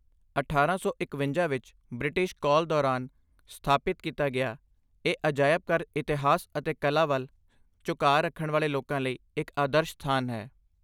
ਅਠਾਰਾਂ ਸੌ ਇਕਵੰਜਾ ਵਿੱਚ ਬ੍ਰਿਟਿਸ਼ ਕਾਲ ਦੌਰਾਨ ਸਥਾਪਿਤ ਕੀਤਾ ਗਿਆ, ਇਹ ਅਜਾਇਬ ਘਰ ਇਤਿਹਾਸ ਅਤੇ ਕਲਾ ਵੱਲ ਝੁਕਾਅ ਰੱਖਣ ਵਾਲੇ ਲੋਕਾਂ ਲਈ ਇੱਕ ਆਦਰਸ਼ ਸਥਾਨ ਹੈ